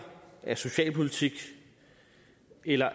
af socialpolitik eller